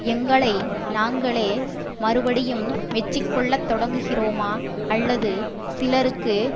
எங்களை நாங்களே மறுபடியும் மெச்சிக்கொள்ளத் தொடங்குகிறோமா அல்லது சிலருக்கு